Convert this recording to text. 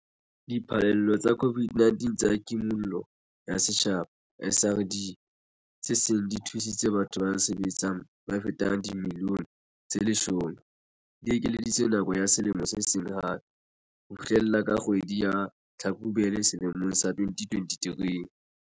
Diphallelo tsa COVID-19 tsa Kimollo ya Setjhaba, SRD, tse seng di thusitse batho ba sa sebetseng ba fetang dimilione tse 10, di ekeleditswe nako ya selemo se seng hape - ho fihlela ka kgwedi ya Tlhakubele selemong sa 2023.